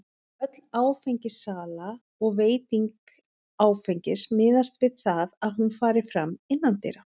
Öll áfengissala og veiting áfengis miðast við það að hún fari fram innandyra.